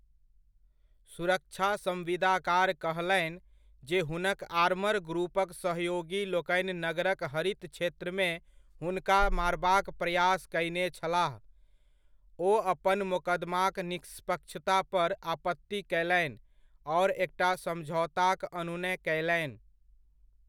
सुरक्षा सम्विदाकार कहलनि, जे हुनक आर्मरग्रुपक सहयोगी लोकनि नगरक हरित क्षेत्रमे हुनका मारबाक प्रयास कयने छलाह, ओ अपन मोकदमाक निष्पक्षता पर आपत्ति कयलनि आओर एकटा समझौताक अनुनय कयलनि।